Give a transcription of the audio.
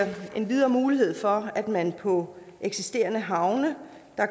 endvidere mulighed for at man på eksisterende havne